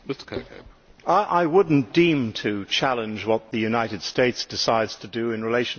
I would not deem to challenge what the United States decides to do in relation to these matters